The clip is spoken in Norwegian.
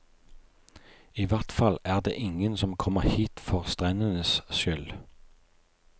I hvert fall er det ingen som kommer hit for strendenes skyld.